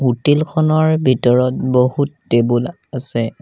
Hotel খনৰ ভিতৰত বহুত টেবুল আছে।